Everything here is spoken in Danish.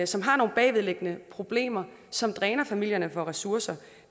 som har nogle bagvedliggende problemer som dræner familierne for ressourcer